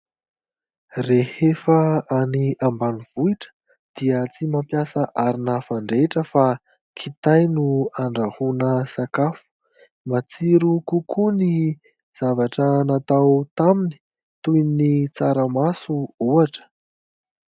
Rehefa any ambanivohitra dia tsy mampiasa arina fandrehatra fa kitay no andrahoana sakafo. Matsiro kokoa ny zavatra natao taminy toy ny tsaramaso ohatra.